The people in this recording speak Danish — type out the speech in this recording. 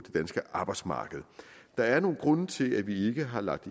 danske arbejdsmarked der er nogle grunde til at vi ikke har lagt